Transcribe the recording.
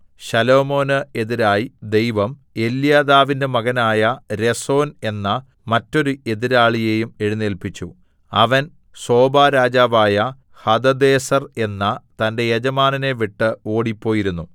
ശലോമോന് എതിരായി ദൈവം എല്യാദാവിന്റെ മകനായ രെസോൻ എന്ന മറ്റൊരു എതിരാളിയെയും എഴുന്നേല്പിച്ചു അവൻ സോബാരാജാവായ ഹദദേസർ എന്ന തന്റെ യജമാനനെ വിട്ട് ഓടിപ്പോയിരുന്നു